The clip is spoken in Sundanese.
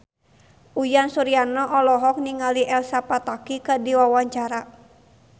Uyan Suryana olohok ningali Elsa Pataky keur diwawancara